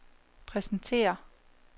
præsentere